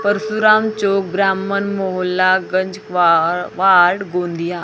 परशुराम छूब्राह्मण मोहल्ला गांजाकवा वार्ड गोंदिया।